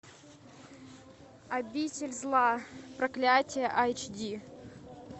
обитель зла проклятие айч ди